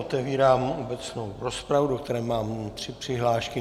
Otevírám obecnou rozpravu, do které mám tři přihlášky.